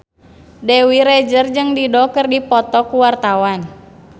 Dewi Rezer jeung Dido keur dipoto ku wartawan